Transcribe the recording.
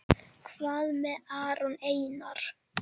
Hvað með Aron Einar?